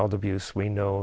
maður býr á